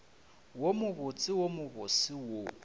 wo mobotse wo mobose wo